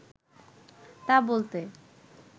তা বলতে